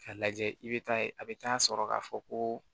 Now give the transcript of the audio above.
K'a lajɛ i bɛ taa ye a bɛ taa sɔrɔ k'a fɔ ko